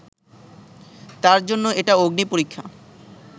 তার জন্য এটা অগ্নিপরীক্ষা